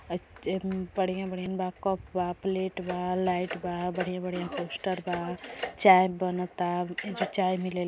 बड़ियाँ बढ़ियां बा कप बा प्लेट बा लाइट बा बढियां बढ़ियां पोस्टर बा चाय बनता। एजो चाय मिल --